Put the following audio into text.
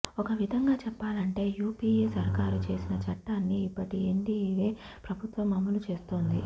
ఒక విధంగా చెప్పాలంటే యూపీఏ సర్కారు చేసిన చట్టాన్ని ఇప్పటి ఎన్డీయే ప్రభుత్వం అమలు చేస్తోంది